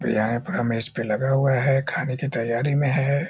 बिरयानी पूरा मेज़ पे लगा हुआ है खाने की तैयारी में है।